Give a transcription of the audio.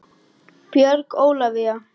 Björg Ólavía.